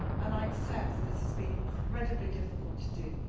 I accept that this has been incredibly difficult to do.